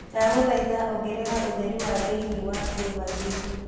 ndagũthaĩtha ongerera ũtherĩ thĩĩni wa kiũmba gĩkĩ